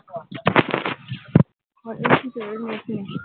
হলেই কি করবো? net নিয়ে?